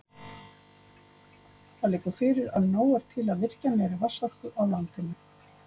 Það liggur fyrir að nóg er til af virkjanlegri vatnsorku á landinu.